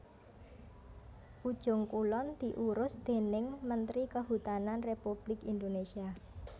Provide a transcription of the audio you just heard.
Ujung Kulon diurus déning mentri Kehutanan Républik Indonésia